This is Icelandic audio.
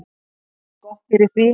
Jafngott fyrir því.